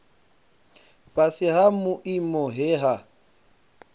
fhasi ha vhuimo he ha